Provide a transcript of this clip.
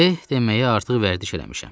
Eh deməyə artıq vərdiş eləmişəm.